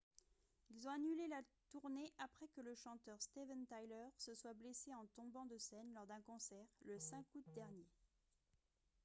ils ont annulé la tournée après que le chanteur steven tyler se soit blessé en tombant de scène lors d'un concert le 5 août dernier